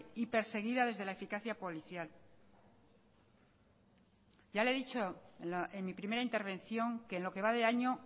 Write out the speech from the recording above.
y perseguida desde la eficacia policial ya le he dicho en mi primera intervención que en lo que va de año